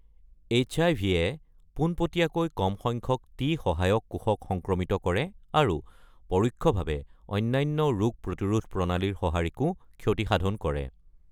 এইচআইভি-য়ে পোনপটীয়াকৈ কম সংখ্যক টি সহায়ক কোষক সংক্ৰমিত কৰে আৰু পৰোক্ষভাৱে অন্যান্য ৰোগ প্ৰতিৰোধ প্ৰণালীৰ সঁহাৰিকো ক্ষতিসাধন কৰে।